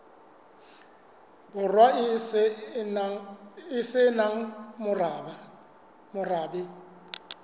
borwa e se nang morabe